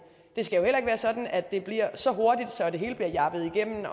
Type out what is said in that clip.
det skal jo heller ikke være sådan at det bliver så hurtigt så det hele bliver jabbet igennem